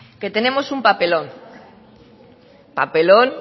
que tenemos un papelón papelón